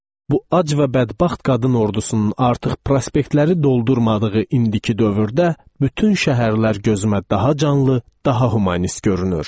Bu ac və bədbəxt qadın ordusunun artıq prospektləri doldurmadığı indiki dövrdə bütün şəhərlər gözümə daha canlı, daha humanist görünür.